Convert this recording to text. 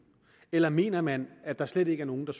eller mener man at der slet ikke er nogen der